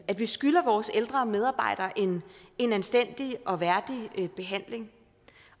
at vi skylder vores ældre og medarbejdere en en anstændig og værdig behandling